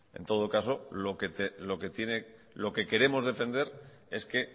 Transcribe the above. en todo caso lo que queremos defender es que